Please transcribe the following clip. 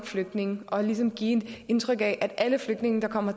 flygtninge og ligesom give indtryk af at alle flygtninge der kommer